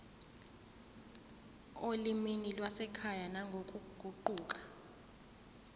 olimini lwasekhaya nangokuguquka